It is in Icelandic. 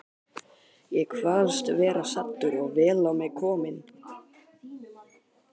Ég kvaðst vera saddur og vel á mig kominn.